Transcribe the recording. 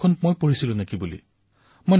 ইয়াৰ পিছত মোৰ বহু সুন্দৰ অভিজ্ঞতা হল